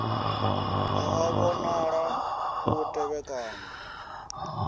a a vhonala u tevhekana